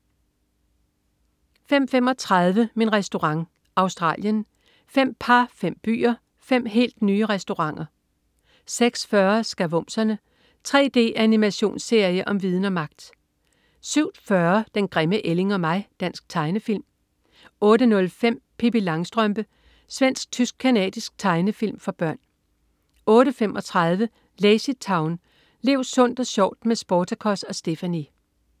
05.35 Min Restaurant. Australien. Fem par, fem byer, fem helt nye restauranter 06.40 Skavumserne. 3D-animationsserie om viden og magt! 07.40 Den grimme ælling og mig. Dansk tegnefilm 08.05 Pippi Langstrømpe. Svensk-tysk-canadisk tegnefilm for børn 08.35 LazyTown. Lev sundt og sjovt med Sportacus og Stephanie!